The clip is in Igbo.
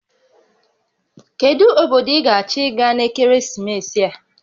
Kedu obodo ị ga-achọ ịga n'ekeresimesi a?